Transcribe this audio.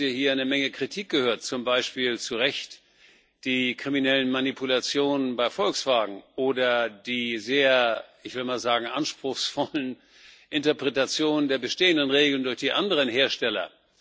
Wir haben heute hier eine Menge Kritik gehört, zum Beispiel zu Recht an den kriminellen Manipulationen bei Volkswagen oder den sehr ich will mal sagen anspruchsvollen Interpretationen der bestehenden Regeln durch die anderen Hersteller.